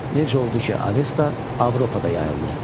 Necə oldu ki, Avesta Avropada yayıldı?